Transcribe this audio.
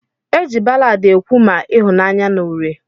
Eji ballad ekwu ma ihunanya na uri.